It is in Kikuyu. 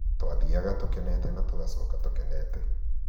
twathiaga tũkenete na tũgacoka tũkenete